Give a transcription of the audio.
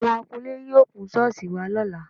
Àwọ̀n akunlé yóò kun ṣọ́ọ̀ṣì wa lọ́la